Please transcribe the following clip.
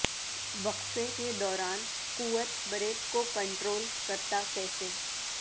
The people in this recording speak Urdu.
وقفے کے دوران قوت بریک کو کنٹرول کرتا کیسے